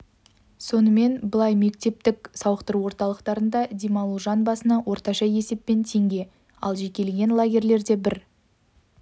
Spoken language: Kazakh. сонымен былай мемлекеттік сауықтыру орталықтарында демалу жан басына орташа есеппен теңге ал жекелеген лагерьлерге бір